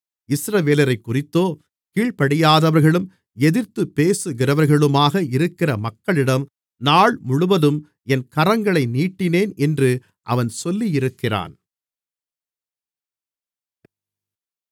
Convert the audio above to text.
இஸ்ரவேலரைக்குறித்தோ கீழ்ப்படியாதவர்களும் எதிர்த்துப் பேசுகிறவர்களுமாக இருக்கிற மக்களிடம் நாள்முழுவதும் என் கரங்களை நீட்டினேன் என்று அவன் சொல்லியிருக்கிறான்